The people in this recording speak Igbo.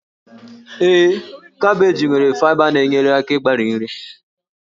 Ee, kabeeji nwere faịba na-enyere aka ịgbari nri